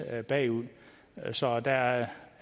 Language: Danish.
bagud så der er